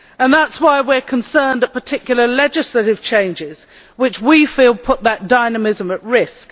That is why we are concerned at particular legislative changes which we feel put that dynamism at risk.